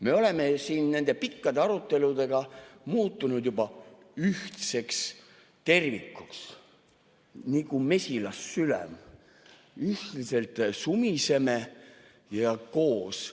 Me oleme siin nende pikkade aruteludega muutunud juba ühtseks tervikuks, nagu mesilassülem ühiselt sumiseme ja koos.